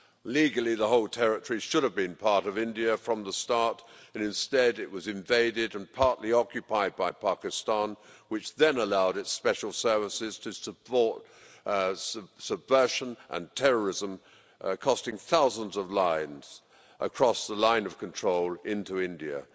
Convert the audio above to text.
Legally, the whole territory should have been part of India from the start but instead it was invaded and partly occupied by Pakistan, which then allowed its special services to support subversion and terrorism, costing thousands of lives across the Line of Control into India.